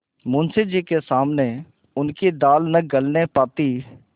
मुंशी जी के सामने उनकी दाल न गलने पाती